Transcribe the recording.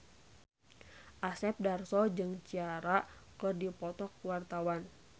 Asep Darso jeung Ciara keur dipoto ku wartawan